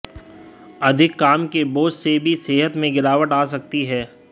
अधिक काम के बोझ से भी सेहत में गिरावट आ सकती है